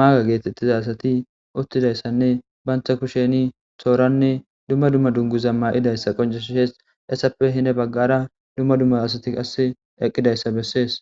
maage geetettiza asati uttida issanne bantha kusheni tooranne dumma dumma dunguza mayida issa qoncissees .Essappe hine baggara dumma dumma asati qasse eqqida issa bessees.